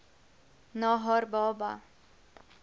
na haar baba